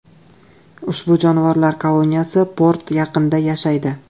Ushbu jonivorlar koloniyasi port yaqinida yashaydi.